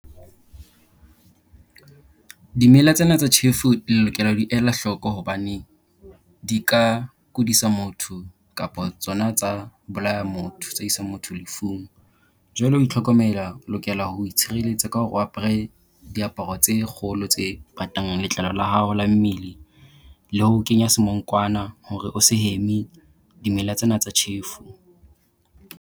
Dimela tsena tsa thjefu le lokela ho di ela hloko hobane di ka kudisa motho kapo tsona tsa bolaya motho, tsa isa motho lefung. Jwale ho itlhokomela o lokela ho itshireletsa ka hore o apere diaparo tse kgolo tse patang letlalo la hao la mmele, le ho kenya semonkwana hore o se heme dimela tsena tsa tjhefu.